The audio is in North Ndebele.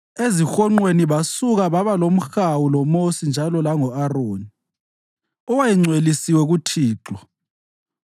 Ezihonqweni basuka babalomhawu loMosi njalo lango-Aroni, owayengcwelisiwe kuThixo.